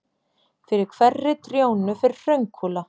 Fyrir hverri trjónu fer hraunkúla.